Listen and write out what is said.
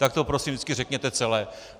Tak to prosím vždycky řekněte celé.